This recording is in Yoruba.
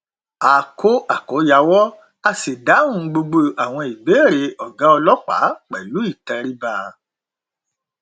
a kó àkòyawọ a sì dáhùn gbogbo àwọn ìbéèrè ọgá ọlọpàá pẹlú ìtẹríba